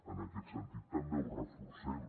en aquest sentit també ho reforcem